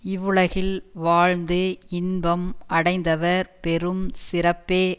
இவ்வுலகில் வாழ்ந்து இன்பம் அடைந்தவர் பெறும் சிறப்பே